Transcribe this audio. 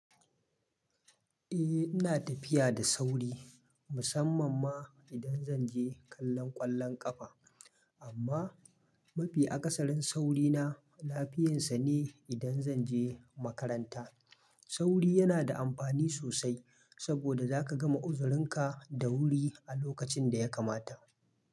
Eh ina tafiya da sauri musamman ma idan zan je kallon ƙwallon ƙafa. Amma mafi akasarin saurina lafiyansa ne idan zan je makaranta. Sauri yana da amfani sosai saboda zaka gama uzurinka da wuri a lokacin da ya kamata.